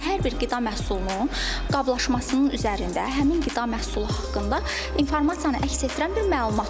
Hər bir qida məhsulunun qablaşmasının üzərində həmin qida məhsulu haqqında informasiyanı əks etdirən bir məlumat olub.